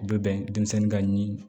U bɛ bɛn denmisɛnnin ka ɲi